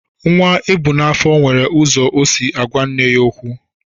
Nwa ebu n'afọ nwere ụzọ o si agwa nne ya okwu.